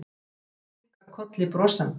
Vinkonan kinkar kolli brosandi.